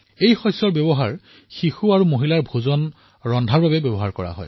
এই শস্য শিশু আৰু মহিলাসকলৰ বাবে ভোজন প্ৰস্তুতিত ব্যৱহাৰ হয়